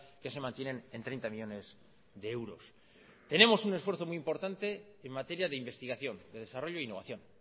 que se mantienen en treinta millónes de euros tenemos un esfuerzo muy importante en materia de investigación de desarrollo e innovación